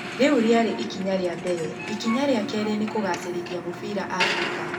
rĩu rĩarĩ ikinya rĩa mbere, ikinya rĩa keerĩ nĩ kũgacĩrithia mũbira Africa